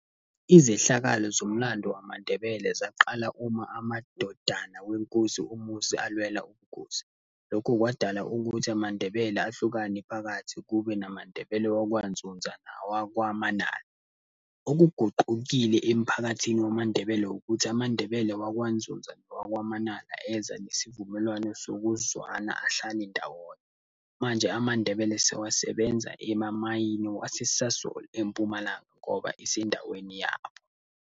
Izehlakalo zomlando wamaNdebele zaqala uma amadodana wenkosi uMusi alwela ubukhosi. Lokho kwadala ukuthi amaNdebele ahlukane phakathi, kube namaNdebele wakwaNdzundza nawakwaManala. Okuguqukile emphakathini wamaNdebele ukuthi amaNdebele wakwaNdzundza nawakwaManala, eza nesivumelwano sokuzwana, ahlale ndawonye. Manje amaNdebele sewasebenza emamayini wase-Sasol, eMpumalanga ngoba isendaweni yabo.